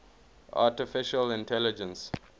artificial intelligence